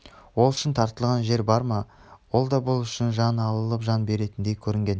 ол үшін тартынған жер бар ма ол да бұл үшін жан алып жан беретіндей көрінген